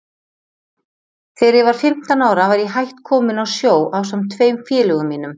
Þegar ég var fimmtán ára var ég hætt kominn á sjó ásamt tveim félögum mínum.